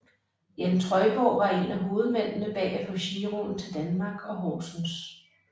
Jan Trøjborg var en af hovedmændene bag at få giroen til Danmark og Horsens